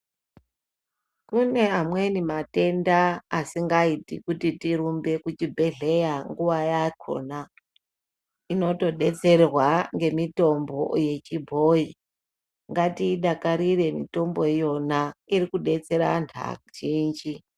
Kune amweni matenda asingaiti kuti tirumbe kuchibhedhlera munguwa yakona inotodetserwa ngemitombo yechibhoyi ngatiidakarire mitombo iyona iri kudetsera antu azhinji.